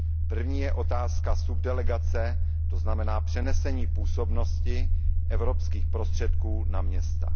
První je otázka subdelegace, to znamená přenesení působnosti evropských prostředků na města.